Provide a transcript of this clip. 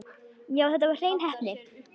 Já, þetta var hrein heppni.